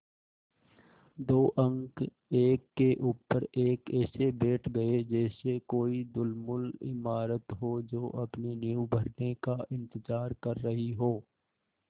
दो अंक एक के ऊपर एक ऐसे बैठ गये जैसे कोई ढुलमुल इमारत हो जो अपनी नींव भरने का इन्तज़ार कर रही हो